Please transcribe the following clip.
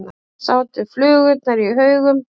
Þar sátu flugurnar í haugum.